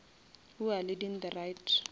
who are leading the right